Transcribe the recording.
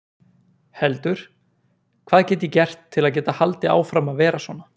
heldur: Hvað get ég gert til að geta haldið áfram að vera svona?